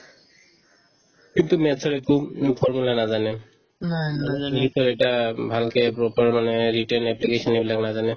সেইটোত math ৰ একো উম formula নাজানে অলপ english ৰ এটা উম ভালকে proper মানে written application এইবিলাক নাজানে